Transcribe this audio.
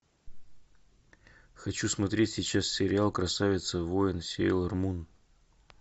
хочу смотреть сейчас сериал красавица воин сейлор мун